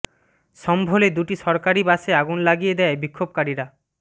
সম্ভলে দুটি সরকারু বাসে আগুন লাগিয়ে দেয় বিক্ষোভকারীরা